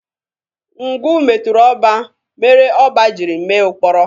Ngwu metụrụ ọba, mere ọba jiri mee ụkpọrọ.